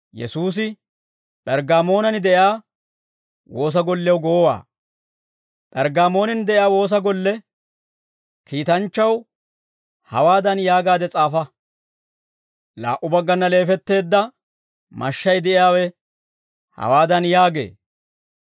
P'erggaamoonan de'iyaa woosa golle kiitanchchaw hawaadan yaagaade s'aafa: «Laa"u baggana leefetteedda mashshay de'iyaawe hawaadan yaagee.